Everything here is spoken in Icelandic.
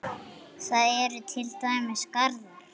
Þar eru til dæmis garðar.